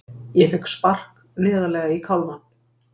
Ég fékk spark neðarlega í kálfann.